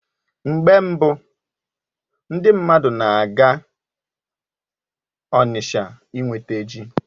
Mgbe mbu, ndị mmadụ na-aga Onitsha inweta ji